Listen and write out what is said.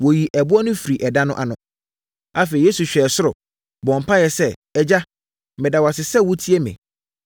Wɔyii ɛboɔ no firii ɛda no ano. Afei, Yesu hwɛɛ ɛsoro, bɔɔ mpaeɛ sɛ, “Agya, meda wo ase sɛ wotie me.